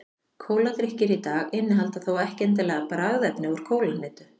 kóladrykkir í dag innihalda þó ekki endilega bragðefni úr kólahnetu